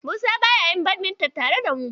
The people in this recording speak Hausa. Musa baya yin badminton tare da mu.